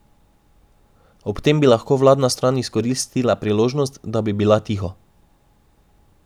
Ob tem bi lahko vladna stran izkoristila priložnost, da bi bila tiho.